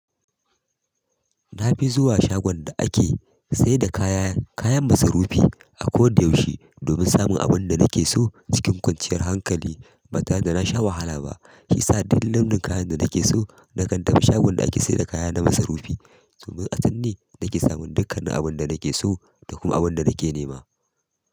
Na fi zuwa shagon da ake sayar da kayan masarufi, a koda yaushe domin samun abin da nake so cikin kwanciyar hankali. Ba tare da na sha wahala ba shiyasa duk launin kayan da nake so na kan tafi shagon da ake sayar da kaya na masarufi domin a can ne nake samun dukkan abun da nake so da kuma abun da nake nema.